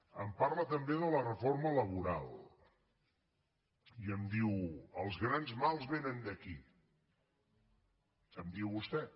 em parla també de la reforma laboral i em diu els grans mals vénen d’aquí em diu vostè